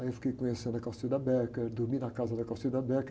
Aí eu fiquei conhecendo a, dormi na casa da.